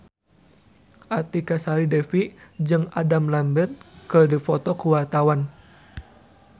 Artika Sari Devi jeung Adam Lambert keur dipoto ku wartawan